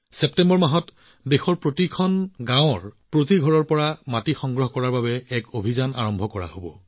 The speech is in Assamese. ছেপ্টেম্বৰ মাহত দেশৰ প্ৰতিখন গাঁৱৰ প্ৰতিটো ঘৰৰ পৰা মাটি সংগ্ৰহৰ অভিযান আৰম্ভ হব